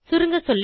சுருங்கசொல்ல